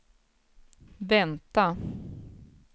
vänta